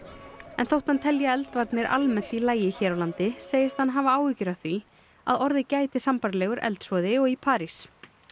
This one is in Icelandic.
en þótt hann telji eldvarnir almennt í lagi hér á landi segist hann hafa áhyggjur af því að orðið gæti sambærilegur eldsvoði og í París